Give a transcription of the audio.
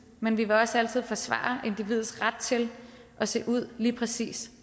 men vi vil også altid forsvare individets ret til at se ud lige præcis